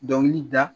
Dɔnkili da